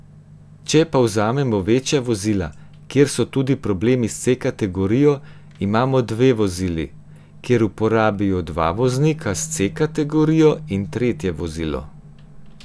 Če pa vzamemo večja vozila, kjer so tudi problemi s C kategorijo, imajo dve vozili, kjer uporabijo dva voznika s C kategorijo in tretje vozilo.